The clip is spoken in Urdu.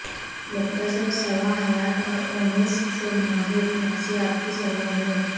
مختصر سوانح حیات اور اومسک سے ماہر نفسیات کی سرگرمیوں